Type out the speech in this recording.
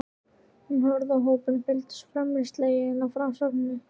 Hún horfði á hópinn sem fylgdist felmtri sleginn með frásögninni.